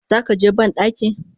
Zakaje bandaki?